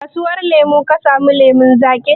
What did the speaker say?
A kasuwar lemu ka samu lemun zaƙin?